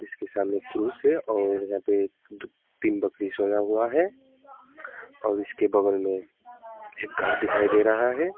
इसके सामने क्रूस है और यहां पे तीन बकरी सोया हुआ है और इसके बगल में एक घर दिखाई दे रहा है।